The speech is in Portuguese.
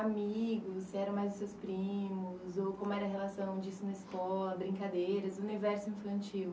amigos, se eram mais os seus primos, ou como era a relação disso na escola, brincadeiras, o universo infantil.